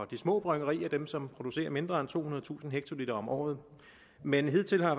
de små bryggerier dem som producerer mindre end tohundredetusind hektoliter om året men hidtil har